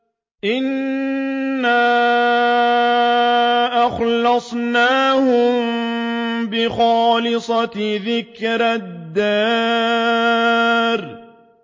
إِنَّا أَخْلَصْنَاهُم بِخَالِصَةٍ ذِكْرَى الدَّارِ